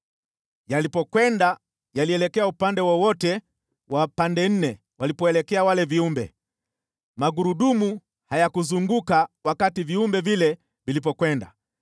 Yalipokwenda yalielekea upande wowote wa pande nne walipoelekea wale viumbe, magurudumu hayakuzunguka wakati viumbe vile vilipokwenda.